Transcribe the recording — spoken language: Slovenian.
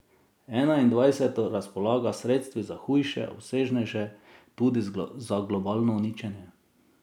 Enaindvajseto razpolaga s sredstvi za hujše, obsežnejše, tudi za globalno uničenje.